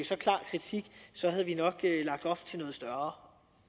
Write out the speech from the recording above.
så klar kritik havde vi nok lagt op til noget større